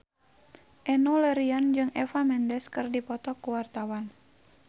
Enno Lerian jeung Eva Mendes keur dipoto ku wartawan